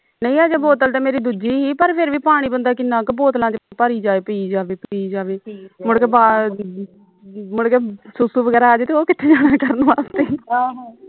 ਨਹੀਂ ਹਜੇ ਬੋਤਲ ਤੇ ਮੇਰੀ ਦੂਜੀ ਹੀ ਪਰ ਫਿਰ ਵੀ ਪਾਣੀ ਬੰਦਾਂ ਕਿੰਨਾਂ ਕਿ ਬੋਤਲਾਂ ਵਿਚ ਭਰੀ ਜਾਵੇ ਪੀ ਪੀ ਜਾਵੇ ਪੀ ਜਾਵੇ ਮੁੜਕੇ ਮੁੜਕੇ ਸੂ ਸੂ ਵਗੈਰਾ ਆ ਜਾਵੇ ਤੇ ਉਹ ਕਿਥੇ ਜਾਣਾ ਕਰਨ ਵਾਸਤੇ